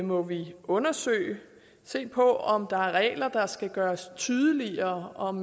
må vi undersøge og se på om der er regler der skal gøres tydeligere og om